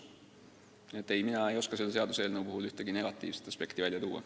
Nii et mina ei oska selle seaduseelnõu puhul ühtegi negatiivset aspekti välja tuua.